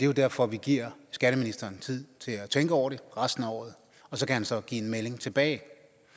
jo derfor at vi giver skatteministeren tid til at tænke over det resten af året og så kan han så give en melding tilbage